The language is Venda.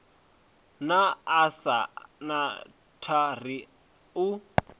na asnath a ri u